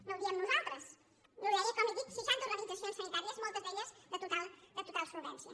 no ho diem nosaltres ho deien com li dic seixanta organitzacions sanitàries moltes d’elles de total solvència